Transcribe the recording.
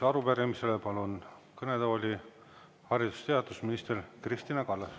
Arupärimisele vastamiseks palun kõnetooli haridus‑ ja teadusminister Kristina Kallase.